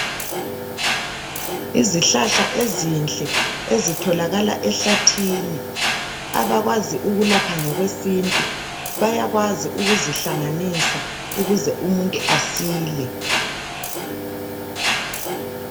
Izihlahla ezinhle ezitholakala ehlathini abakwazi ukulapha ngokwesintu bayakwazi ukuzihlanganisa ukuze umuntu asile